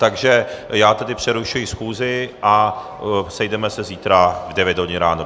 Takže já tedy přerušuji schůzi a sejdeme se zítra v 9 hodin ráno.